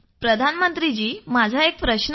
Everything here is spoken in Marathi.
प्रधानमंत्री जी माझा एक प्रश्न आहे